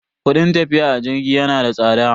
Kudin tafiya a jirgi yana da tsada.